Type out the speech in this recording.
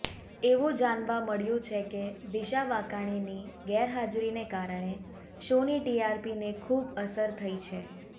એવું જાણવા મળ્યું છે કે દિશા વાકાણીની ગેરહાજરીને કારણે શોની ટીઆરપીને ખૂબ અસર થઈ છે